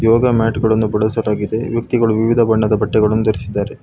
ಯೋಗ mat ಗಳನ್ನು ಬಳಸಲಾಗಿದೆ ವ್ಯಕ್ತಿಗಳು ವಿವಿಧ ಬಣ್ಣದ ಬಟ್ಟೆ ಗಳನ್ನು ಧರಿಸಿದ್ದಾರೆ.